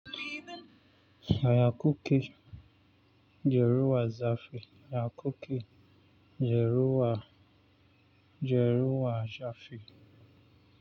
Yaya kuke? Jeruwa zafi. Yaya kuke? Jeruwa, Jeruwa zafi.